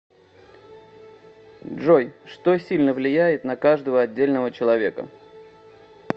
джой что сильно влияет на каждого отдельного человека